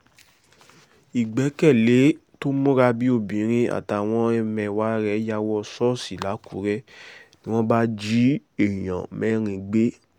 ìgbẹ́kẹ̀lé tó múra bíi obìnrin àtàwọn ẹmẹ̀wà rẹ̀ ya wọ̀ ṣọ́ọ̀ṣì làkúrẹ́ ni wọ́n bá jí èèyàn mẹ́rin gbé